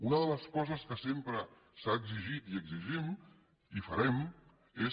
una de les coses que sempre s’ha exigit i exigim i farem és